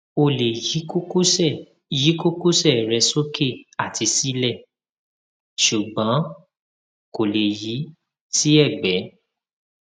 ó lè yí kókósẹ yí kókósẹ rẹ sókè àti sílẹ ṣùgbọn kò lè yi sí ẹgbẹ